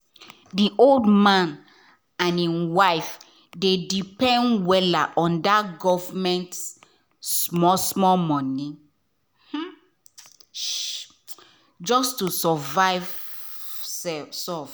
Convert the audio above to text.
the old man and him wife dey depend wella on that government small-small money (ssi) just to survive soft.